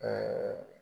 Ɛɛ